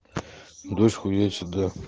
дочку детям да